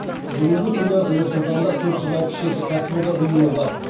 бүгінгі күні нұр сұлтанда төрт жүз алпыс жеті кәсіподақ ұйымы бар